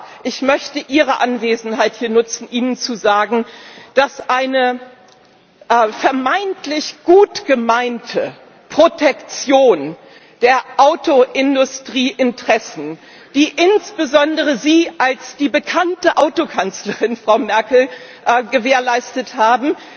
Aber ich möchte Ihre Anwesenheit hier nutzen, um Ihnen zu sagen, dass eine vermeintlich gut gemeinte Protektion der Autoindustrieinteressen, die insbesondere Sie als die bekannte Auto Kanzlerin, Frau Merkel, gewährleistet haben